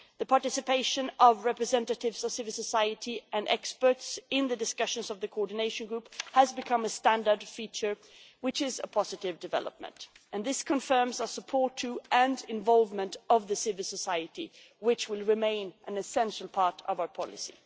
The participation of representatives of civil society and experts in the discussions of the Coordination Group has become a standard feature, which is a positive development, and this confirms our support to, and the involvement of, the civil society, which will remain an essential part of our policy.